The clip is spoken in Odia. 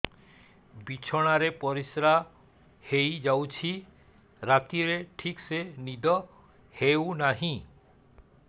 ବିଛଣା ରେ ପରିଶ୍ରା ହେଇ ଯାଉଛି ରାତିରେ ଠିକ ସେ ନିଦ ହେଉନାହିଁ